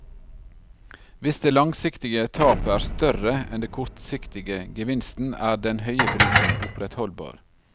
Hvis det langsiktige tapet er større enn den kortsiktige gevinsten, er den høye prisen opprettholdbar.